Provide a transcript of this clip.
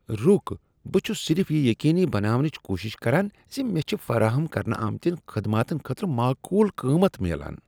رُک، بہٕ چھس صرف یہ یقینی بناونٕچ کوٗشش کران ز مےٚ چھ فراہم کرنہٕ آمتیٚن خدماتن خٲطرٕ معقول قۭمت میلان۔